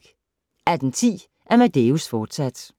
18:10: Amadeus, fortsat